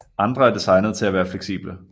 Andre er designet til at være fleksible